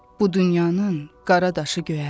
Bu dünyanın qara daşı göyərməz.